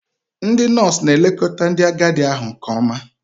Ndị nọọsụ na-elekọta ndị agadi ahụ nke ọma.